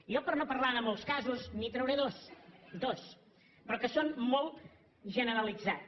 jo per no parlar de molts casos li’n trauré dos dos però que són molt generalitzats